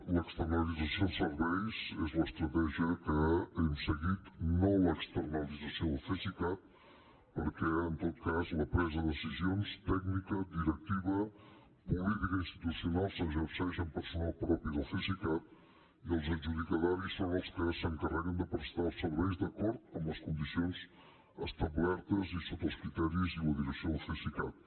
l’externalització dels serveis és l’estratègia que hem seguit no l’externalització del cesicat perquè en tot cas la presa de decisions tècnica directiva política i institucional s’exerceix amb personal propi del cesicat i els adjudicataris són els que s’encarreguen de prestar els serveis d’acord amb les condicions establertes i sota els criteris i la direcció del cesicat